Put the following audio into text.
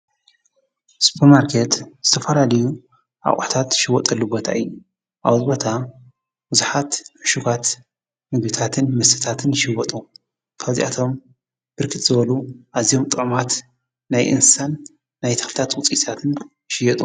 ሱፖር ማርኬት ዝተፈላለዩ ኣቁሑታት ዝሽየጠሉ ቦታ እዩ:: ኣብዚ ቦታ እዩ ዝሓትት ንሽውሃትን ቡዙሕ ምግቢታትን ልብስታትን ይሽወጡ ካብ ዚኣቶም ብርክት ዝበሉ ኣዝዮም ጥዑማት ናይ እንስሳን ናይ ተክሊታት ውፅኢታትን ይሽየጡ::